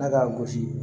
Ala k'a gosi